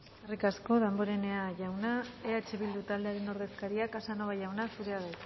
eskerrik asko damborenea jauna eh bildu taldearen ordezkaria casanova jauna zurea da